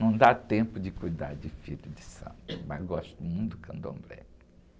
Não dá tempo de cuidar de Filho de Santo, mas gosto muito do candomblé.